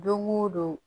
Don o don